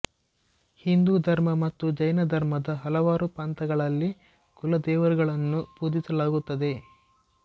ಹಿಂದೂ ಧರ್ಮ ಮತ್ತು ಜೈನ ಧರ್ಮದ ಹಲವಾರು ಪಂಥಗಳಲ್ಲಿ ಕುಲದೇವರುಗಳನ್ನು ಪೂಜಿಸಲಾಗುತ್ತದೆ